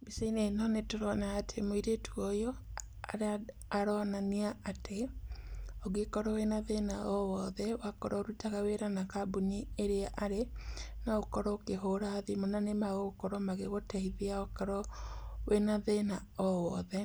Mbica-inĩ ĩno nĩtũrona atĩ mũirĩtu ũyũ aronania atĩ, ũngĩkorwo wĩna thĩna o wothe wakorwo ũrutaga wĩra an kambuni ĩrĩa arĩ, no ũkorwo ũkĩhũra thimũ na nĩmagũkorwo magĩgũteithia okorwo wĩna thĩna o wothe.